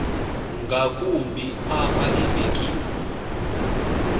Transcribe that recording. ngakumbi apha evekini